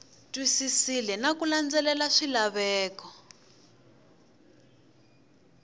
twisisile na ku landzelela swilaveko